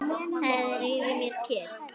Það er yfir mér kyrrð.